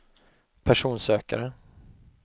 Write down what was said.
personsökare